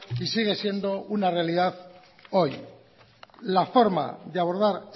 y sigue siendo una realidad hoy la forma de abordar